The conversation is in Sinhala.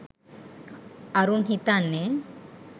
අරුන් හිතන්නෙ